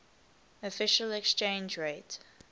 official exchange rate